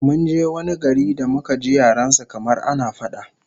Mun je wani gari da muka ji yaren su kamar ana fada!